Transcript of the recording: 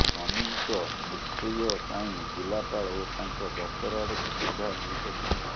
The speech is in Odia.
ସ୍ୱାମୀଙ୍କ ମୃତ୍ୟୁୟପାଇଁ ଜିଲ୍ଲାପାଳ ଓ ତାଙ୍କ ଦପ୍ତର ଆଡ଼କୁ ସିଧା ଇଙ୍ଗିତ ଥିଲା